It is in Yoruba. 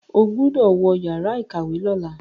O gbódò wọ Yàrá ìkàwé lọla!